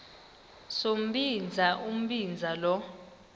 sombinza umbinza lo